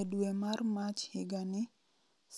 E dwe mar Mach higani,